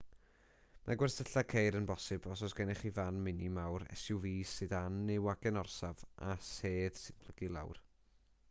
mae gwersylla ceir yn bosibl os oes gennych chi fan mini fawr suv sedan neu wagen orsaf â sedd sy'n plygu i lawr